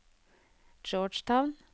Georgetown